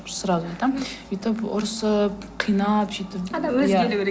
сразу айтамын өйтіп ұрысып қинап сөйтіп адам өзі келуі керек